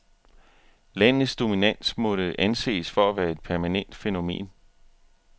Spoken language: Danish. Landets dominans måtte anses for at være et permanent fænomen.